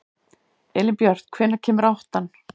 Elínbjört, hvenær kemur áttan?